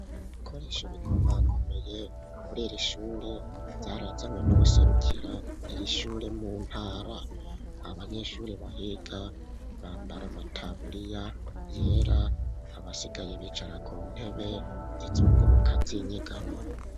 Ibikoresho bikoma komeye kurira ishure vyarazanwe n'ubuserukira iri ishure mu ntara .Abanyeshuri bahiga bambara amataburiya yera abasigaye bicara ku ntebe zizunguruka zinyegamo.